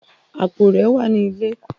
Apó rẹ wà ni ilẹ.